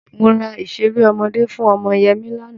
Mo ra ìṣeré ọmọdé fún ọmọ Yẹmí lánàá.